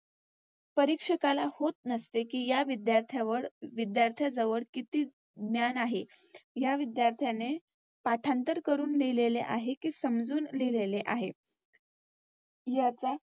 परीक्षकाला होत नसते कि या विध्यार्ध्यावर विध्यार्थ्याजवळ किती ज्ञान आहे. या विद्यार्थ्याने पाठांतर करून लिहलेले आहे कि समजून लिहले आहे. याचा